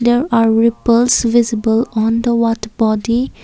there are repulse visible on the water body.